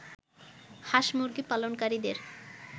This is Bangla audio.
হাঁস-মুরগি পালনকারীদের